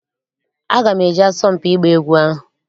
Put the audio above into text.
Aga m eje asọmpi ịgba egwu ahụ.